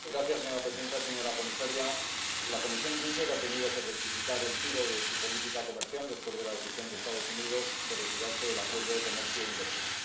Señora presidenta, señora comisaria, la Comisión Juncker ha tenido que rectificar el tiro de su política comercial después de la decisión de los Estados Unidos de retirarse del acuerdo de comercio e inversión.